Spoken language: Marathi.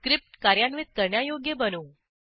स्क्रिप्ट कार्यान्वित करण्यायोग्य बनवू